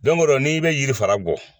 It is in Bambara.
o rɔ n'i bɛ yiri fara gɔ